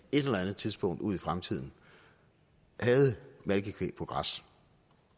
et eller andet tidspunkt ude i fremtiden havde malkekvæg på græs